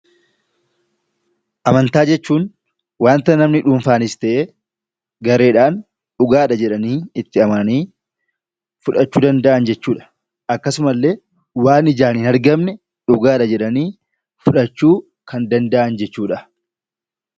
Amantaa jechuun wanta namni dhuunfaanis ta'e gareedhaan 'dhugaadha' jedhanii itti amananii fudhachuu danda'an jechuu dha. Akkasuma illee waan ijaan hin argamne 'dhugaadha' jedhanii fudhachuu kan danda'an jechuu dha.